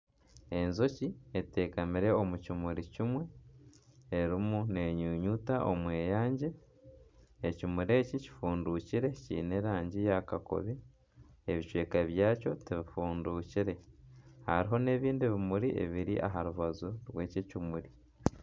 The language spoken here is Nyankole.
Enjoki eteekamire omu kimuri kimwe erimu nenyunyuta omweyangye ekimuri eki kifundukire kyine erangi ya kakobe ebicweka byako tibifuundukire hariho n'ebindi bimuri ebiri aha rubaju rw'eki ekimuri.